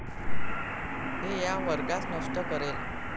हे या वर्गास नष्ट करेल!